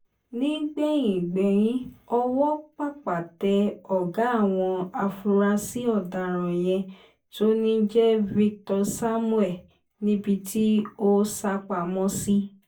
nígbẹ̀yìn gbẹ́yín ọwọ́ pápá tẹ ọ̀gá àwọn afurasí ọ̀daràn yẹn tó ń jẹ́ victor samuel níbi tó sá pamọ́ sí